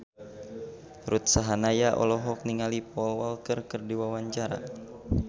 Ruth Sahanaya olohok ningali Paul Walker keur diwawancara